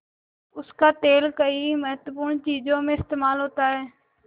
उसका तेल कई महत्वपूर्ण चीज़ों में इस्तेमाल होता है